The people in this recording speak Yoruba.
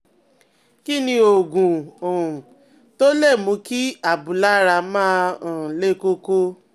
Kí ni oògùn um tó lè mú kí abúlára máa um le koko?